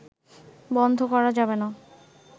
বন্ধ করা যাবে না